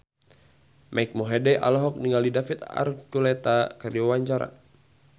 Mike Mohede olohok ningali David Archuletta keur diwawancara